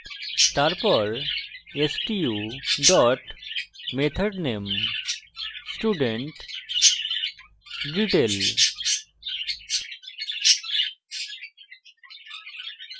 তারপর stu dot method name studentdetail